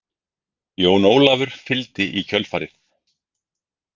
Jón Ólafur fylgdi í kjölfarið.